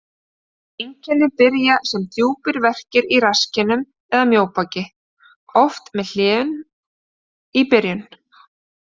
Einkenni byrja sem djúpir verkir í rasskinnum eða mjóbaki, oft með hléum í byrjun.